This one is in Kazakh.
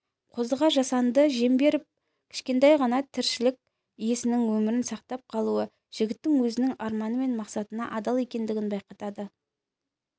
қозыға жасанды дем жіберіп кішкентай ғана тіршілік иесінің өмірін сақтап қалуы жігіттің өзінің арманы мен мақсатына адал екендігін байқатады